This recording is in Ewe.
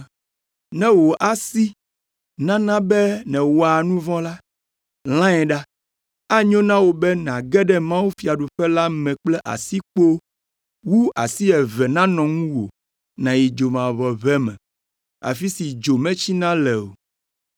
Ne wò asi nana be nèwɔa nu vɔ̃ la, lãe ɖa. Enyo na wò be nàge ɖe mawufiaɖuƒe la me kple asikpo wu be asi eve nanɔ ŋuwò nàyi dzomavɔʋe me, afi si dzo metsina le o.